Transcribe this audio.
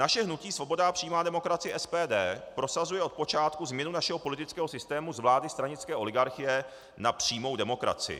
Naše hnutí Svoboda a přímá demokracie, SPD, prosazuje od počátku změnu našeho politického systému z vlády stranické oligarchie na přímou demokracii.